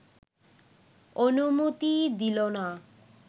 অনুমতি দিল না